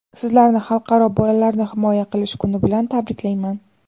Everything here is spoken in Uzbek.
Sizlarni Xalqaro bolalarni himoya qilish kuni bilan tabriklayman!